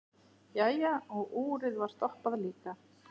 Jæja, og úrið var stoppað líka.